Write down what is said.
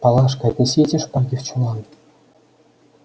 палашка отнеси эти шпаги в чулан